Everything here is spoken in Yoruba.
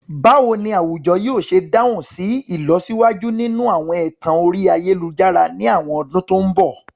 Báwo ni àwùjọ yóò ṣe dáhùn sí ìlọsíwájú nínú àwọn ẹ̀tàn orí ayélujára ní àwọn ọdún tó ń bọ̀?